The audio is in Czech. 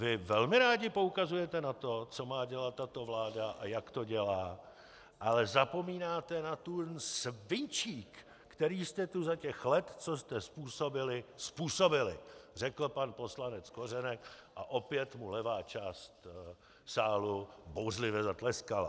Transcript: Vy velmi rádi poukazujete na to, co má dělat tato vláda a jak to dělá, ale zapomínáte na ten svinčík, který jste tu za těch let, co jste způsobili, způsobili, řekl pan poslanec Kořenek a opět mu levá část sálu bouřlivě zatleskala.